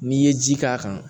N'i ye ji k'a kan